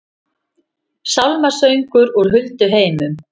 Sálmasöngur úr hulduheimum